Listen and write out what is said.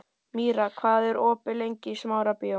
Míra, hvað er opið lengi í Smárabíói?